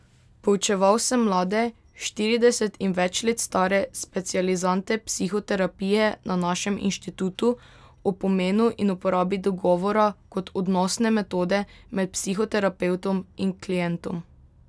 Poučeval sem mlade, štirideset in več let stare specializante psihoterapije na našem inštitutu o pomenu in uporabi dogovora kot odnosne metode med psihoterapevtom in klientom.